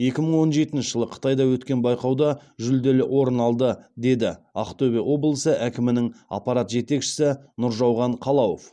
екі мың он жетінші жылы қытайда өткен байқауда жүлделі орын алды деді ақтөбе облысы әкімінің аппарат жетекшісі нұржауған қалауов